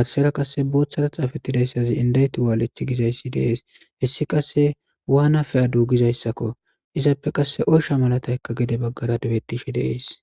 gathsera qasse boothara xaafettidayssazi indayti waalech gizayssi deees hessi qasse waana fe'di dugizayssakko izappe qasse oysha malataykka gede baggara debettishe dees.